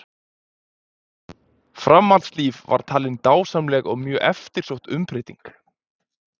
Framhaldslífið var talin dásamleg og mjög eftirsótt umbreyting.